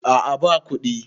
a a ba kuɗi